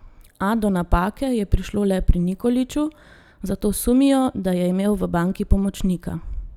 A do napake je prišlo le pri Nikoliću, zato sumijo, da je imel v banki pomočnika.